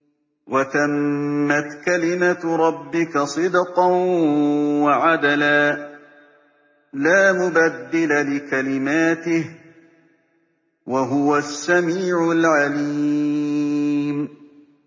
وَتَمَّتْ كَلِمَتُ رَبِّكَ صِدْقًا وَعَدْلًا ۚ لَّا مُبَدِّلَ لِكَلِمَاتِهِ ۚ وَهُوَ السَّمِيعُ الْعَلِيمُ